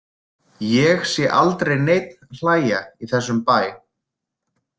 Ég sé aldrei neinn hlæja í þessum bæ.